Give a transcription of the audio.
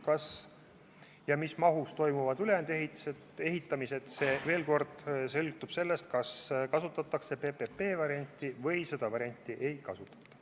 Kas ja mis mahus toimuvad ülejäänud ehitustööd, see – kordan veel kord – sõltub sellest, kas kasutatakse PPP-varianti või seda ei kasutata.